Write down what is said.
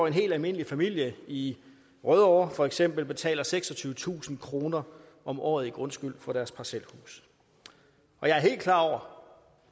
en helt almindelig familie i rødovre for eksempel betaler seksogtyvetusind kroner om året i grundskyld for deres parcelhus og jeg er helt klar over